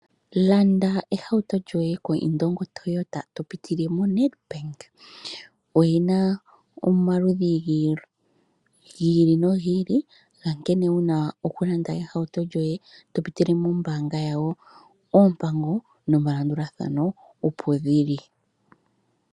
Landa ehauto lyoye koIndongo Toyota, to pitile moNedbank. Oyi na omaludhi gi ili nogi ili, gankene wu na okulanda ehauto lyoye to pitile mombaanga yawo. Oompango nomalanduthano opo dhi li.